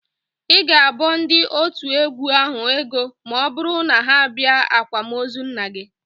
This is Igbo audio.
Ị ga-abọ ndị otu égwú ahụ ego ma ọbụrụ na ha bịa ákwạ́mozu nna gị